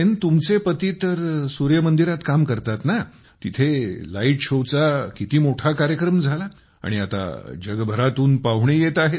तुमचे पती तर सूर्य मंदिरात काम करतात ना तिथे लाईट शो चा किती मोठा कार्यक्रम झाला आणि आता जगभरातून पाहुणे येत आहेत